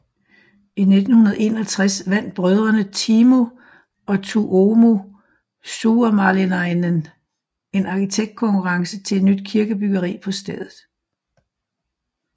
I 1961 vandt brødrene Timo og Tuomo Suomalainen en arkitektkonkurrence til et nyt kirkebyggeri på stedet